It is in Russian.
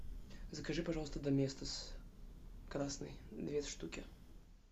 закажи пожалуйста доместос красный две штуки